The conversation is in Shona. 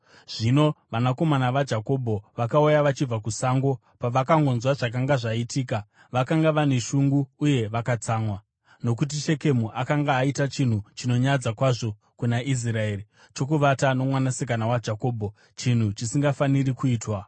Zvino vanakomana vaJakobho vakauya vachibva kusango, pavakangonzwa zvakanga zvaitika. Vakanga vane shungu uye vakatsamwa, nokuti Shekemu akanga aita chinhu chinonyadza kwazvo kuna Israeri, chokuvata nomwanasikana waJakobho, chinhu chisingafaniri kuitwa.